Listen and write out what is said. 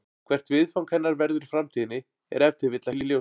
Hvert viðfang hennar verður í framtíðinni er ef til vill ekki ljóst.